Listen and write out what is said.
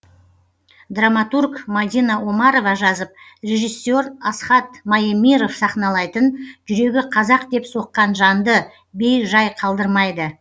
драматург мадина омарова жазып режиссер асхат маемиров сахналайтын жүрегі қазақ деп соққан жанды бей жай қалдырмайды